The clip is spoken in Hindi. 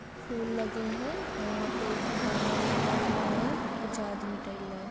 फूल लगे है वहाँ पर एक बैनर लगा हुआ है कुछ आदमी है।